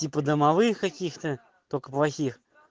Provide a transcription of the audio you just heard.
типа домовых каких-то только плохих